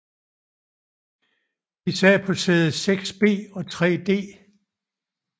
De sad på sæde 6B og 3D